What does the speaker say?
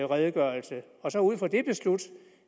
redegørelse og så ud fra den beslutte